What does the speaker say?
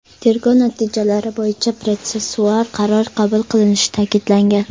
Tergov natijalari bo‘yicha protsessual qaror qabul qilinishi ta’kidlangan.